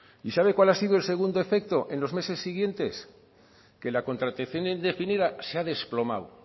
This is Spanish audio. y sabe cuál ha sido el segundo efecto en los meses siguientes que la contratación indefinida se ha desplomado